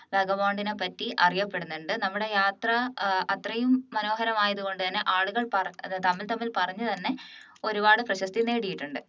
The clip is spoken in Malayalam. വാഗാബോണ്ടിനെപറ്റി അറിയപ്പെടുന്നുണ്ട് നമ്മുടെ യാത്ര ഏർ അത്രയും മനോഹരം ആയതുകൊണ്ട് തന്നെ ആളുകൾ പറ തമ്മിൽ തമ്മിൽ പറഞ്ഞു തന്നെ ഒരുപാട് പ്രശസ്തി നേടിയിട്ടുണ്ട്